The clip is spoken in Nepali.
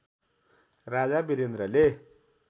राजा वीरेन्द्रले